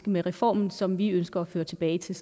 med reformen som vi ønsker at føre tilbage til